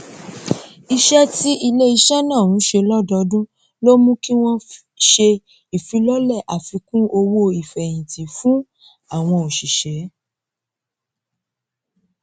iṣẹ tí iléiṣẹ náà ń ṣe lọdọọdún ló mú kí wọn ṣe ìfilọlẹ àfikún owó ìfèyìntì fún àwọn òṣìṣẹ